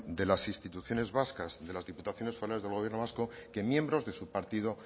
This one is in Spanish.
de las instituciones vascas de las diputaciones forales del gobierno vasco que miembros de su partido